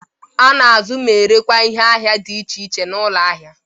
A na-azụ ma erekwa ihe ahịa dị iche iche n'ụlọ ahia.